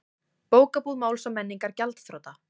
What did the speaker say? Bókabúð Máls og menningar gjaldþrota